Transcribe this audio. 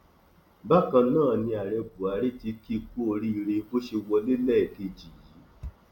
bákan náà ni ààrẹ buhari tí kì í kú oríire bó ṣe wọlé lẹẹkejì yìí